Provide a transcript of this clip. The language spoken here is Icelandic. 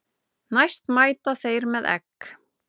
Næst mæta þeir með egg.